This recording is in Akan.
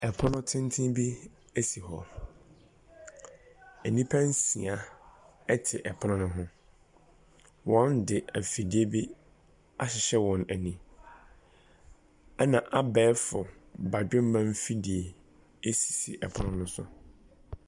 Pono tenten bi si hɔ. Nnipa nsia te pono no ho. Wɔde afidie bi ahyehyɛ wɔn ani, ɛnna abɛɛfo badwemma mfidie sisi pono no so.